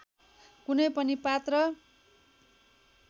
कुनै पनि पात्र